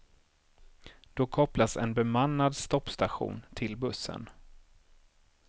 Då kopplas en bemannad stoppstation till bussen.